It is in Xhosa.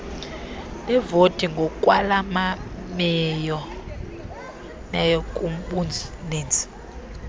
leevoti ngokwalameneyo kubuninzi